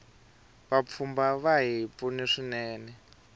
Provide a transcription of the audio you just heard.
vapfhumba vahi pfuna swinene